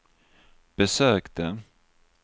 besökte